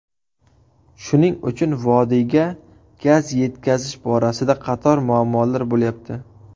Shuning uchun vodiyga gaz yetkazish borasida qator muammolar bo‘lyapti.